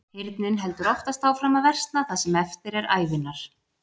Heyrnin heldur oftast áfram að versna það sem eftir er ævinnar.